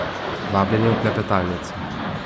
Vabljeni v klepetalnico!